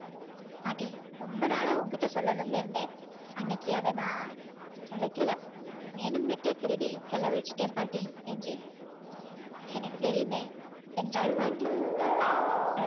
பாட்டி ரொம்ப நாளா உன்கிட்ட சொல்லணும்னு இருந்தேன் அன்னைக்கி அதை நான் தொலைக்கல வேணும்னுட்டே திருடி செலவழிச்சிட்டேன் பாட்டி என்றேன் எனக்கு தெரியுமே என்றாள் பாட்டி